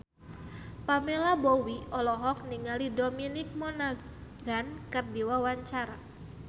Pamela Bowie olohok ningali Dominic Monaghan keur diwawancara